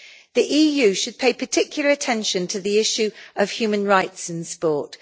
The EU should pay particular attention to the issue of human rights in sport.